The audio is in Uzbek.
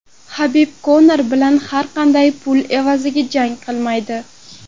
Habib Konor bilan har qanday pul evaziga jang qilmaydi.